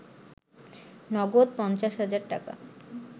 নগদ ৫০ হাজার টাকা